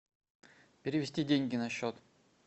перевести деньги на счет